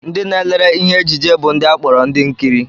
Ndị na-elere ihe ejije bụ ndị a kpọrọ ndị nkiri